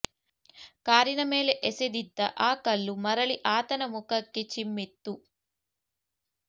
ಕಾರಿನ ಮೇಲೆ ಎಸೆದಿದ್ದ ಆ ಕಲ್ಲು ಮರಳಿ ಆತನ ಮುಖಕ್ಕೆ ಚಿಮ್ಮಿತ್ತು